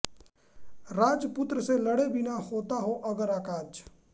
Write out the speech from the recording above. राजपुत्र से लड़े बिना होता हो अगर अकाज